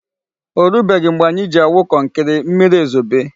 O rubeghị mgbe anyị ji awụ kọnkri, mmiri ezobe.